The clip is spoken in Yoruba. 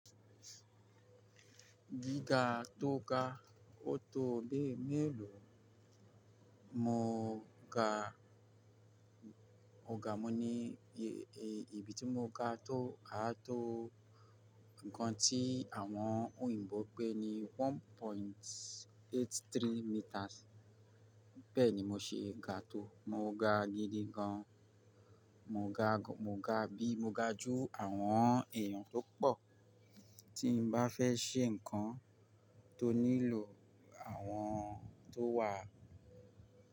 Gíga tó ga ọ̀tọ̀ ọ̀dẹ́ mélòó, mo ga mòga mi ní ibi tí mo ga tó á tó nǹkan tí àwọn òyìnbó pẹ́ ní one point eighty three meters. Bẹ́ẹ̀ni mo ṣe ga tó, mo ga gidi gan, mo ga bí mo ga jú àwọn èèyàn tó pọ̀ tí n bá fẹ́ ṣe nǹkan tó nílò àwọn tó wà.